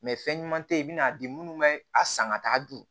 fɛn ɲuman tɛ ye i bɛna di minnu bɛ a san ka taa dun